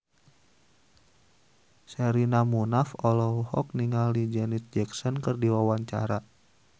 Sherina Munaf olohok ningali Janet Jackson keur diwawancara